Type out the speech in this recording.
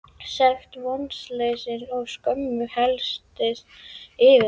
Sekt, vonleysi og skömm helltist yfir mig.